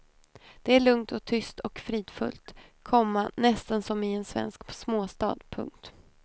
Det är lugnt och tyst och fridfullt, komma nästan som i en svensk småstad. punkt